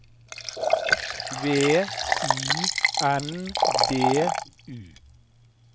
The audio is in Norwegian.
V I N D U